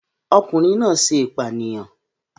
Ọkùnrin náà ṣe ìpànìyàn